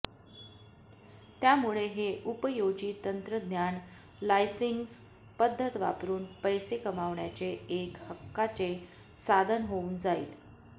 त्यामुळे हे उपयोजित तंत्रज्ञान लायसन्सिंग पद्धत वापरून पैसे कमावण्याचे एक हक्काचे साधन होऊन जाईल